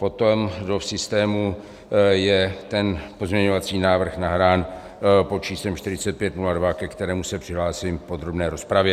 Potom do systému je ten pozměňovací návrh nahrán pod číslem 4502, ke kterému se přihlásím v podrobné rozpravě.